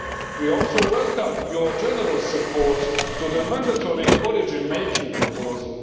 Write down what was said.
We also welcome your general support for the mandatory origin making proposal.